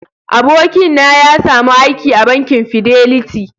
abokin na ya samu aiki a bankin " fidelity".